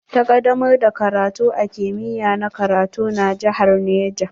Ta kadamar da karatu a kimiya na karatu na jihar Niger.